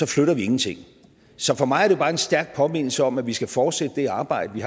flytter vi ingenting så for mig er det bare en stærk påmindelse om at vi skal fortsætte det arbejde vi